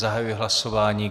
Zahajuji hlasování.